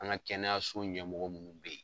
An ka kɛnɛyaso ɲɛmɔgɔ minnu bɛ yen.